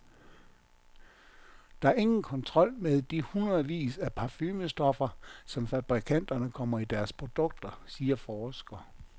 Der er ingen kontrol med de hundredvis af parfumestoffer, som fabrikanterne kommer i deres produkter, siger forsker.